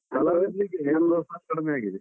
ಕಲಾವಿದರಿಗೆ ಎಲ್ಲೊ ಸಾ ಕಡಿಮೆಯಾಗಿದೆ.